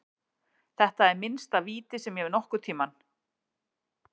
Þetta er minnsta víti sem ég hef séð nokkurntímann.